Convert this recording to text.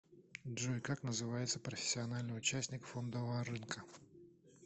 джой как называется профессиональный участник фондового рынка